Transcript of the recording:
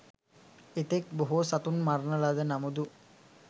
එතෙක් බොහෝ සතුන් මරණ ලද නමුදු